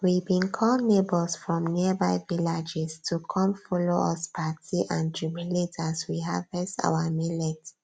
we bin call neighbors from nearby vilaages to come follow us party and jubilate as we harvest our millets